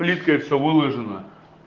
плиткой всё выложено